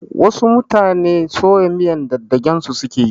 Wasu mutane soya miyar dagdagen su suke yi